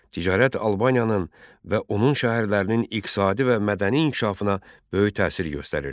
Ticarət Albaniyanın və onun şəhərlərinin iqtisadi və mədəni inkişafına böyük təsir göstərirdi.